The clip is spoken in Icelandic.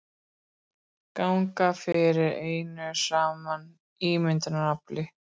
Ganga fyrir einu saman ímyndunarafli.